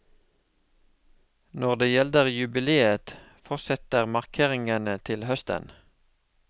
Når det gjelder jubiléet, fortsetter markeringene til høsten.